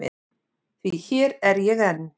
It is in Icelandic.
Því hér er ég enn.